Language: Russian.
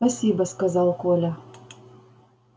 спасибо сказал коля